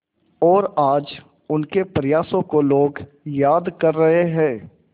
और आज उनके प्रयासों को लोग याद कर रहे हैं